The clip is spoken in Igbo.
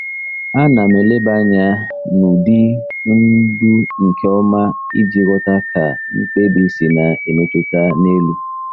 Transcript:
Ana m eleba anya n'ụdị ndu nke ọma iji ghọta ka mkpebi si na-emetụta n'elu.